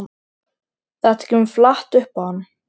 Þetta kemur flatt upp á hann.